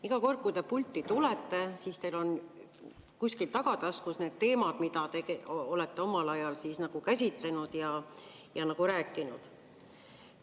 Iga kord, kui te pulti tulete, on teil kuskil tagataskus need teemad, mida te olete omal ajal käsitlenud ja rääkinud.